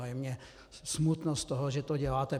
A je mně smutno z toho, že to děláte.